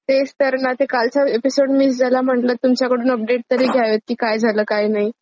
तेच तर ना ते कालच एपिसोड मिस झालं म्हटलं तुमच्याकडून अपडेट तरी घ्यावीत की काय झालं काय नाही.